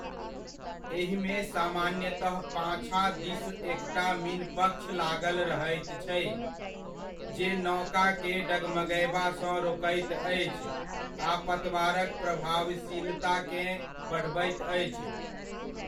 एहिमे सामान्यतः पाछाँ दिस एकटा मीनपक्ष लागल रहैत छै जे नौकाकेँ डगमगयबासँ रोकैत अछि आ पतवारक प्रभावशीलताकेँ बढ़बैत अछि।